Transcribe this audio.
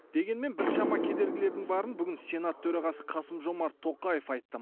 дегенмен біршама кедергілердің барын бүгін сенат төрағасы қасым жомарт тоқаев айтты